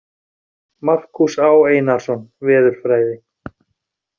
Markús Á. Einarsson, Veðurfræði.